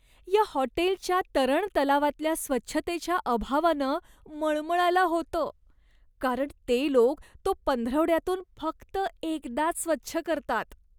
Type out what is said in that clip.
या हॉटेलच्या तरण तलावातल्या स्वच्छतेच्या अभावानं मळमळायला होतं, कारण ते लोक तो पंधरवड्यातून फक्त एकदाच स्वच्छ करतात.